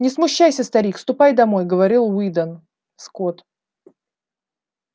не смущайся старик ступай домой говорил уидон скотт